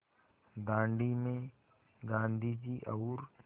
दाँडी में गाँधी जी और